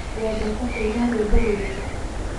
Wendete kũina rũĩmbo rũrĩkũ?